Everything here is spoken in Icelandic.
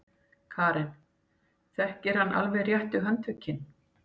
Karen: Þekkir hann alveg réttu handtökin?